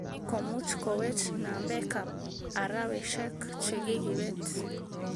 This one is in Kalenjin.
Ni komuch kowech nambekab araweshek chekikibet